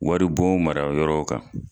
Wari bon mara yɔrɔw kan.